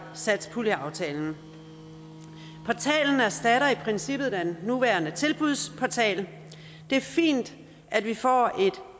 satspuljeaftalen portalen erstatter i princippet den nuværende tilbudsportal det er fint at vi får et